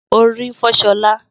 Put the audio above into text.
Orí ń fọ́ ṣọlá